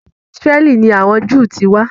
Àti Ísráẹ́lì ni àwọn Jew ti wá.